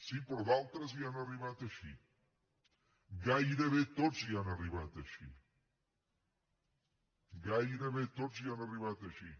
sí però d’altres hi han arribat així gairebé tots hi han arribat així gairebé tots hi han arribat així